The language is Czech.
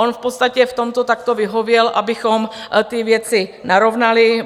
On v podstatě v tomto takto vyhověl, abychom ty věci narovnali.